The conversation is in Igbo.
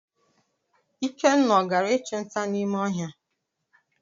Ikenna ọ gara ichu nta n'ime ohia?